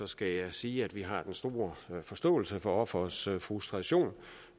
skal jeg sige at vi har den store forståelse for offerets frustration